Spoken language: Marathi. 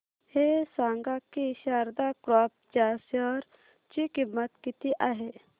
हे सांगा की शारदा क्रॉप च्या शेअर ची किंमत किती आहे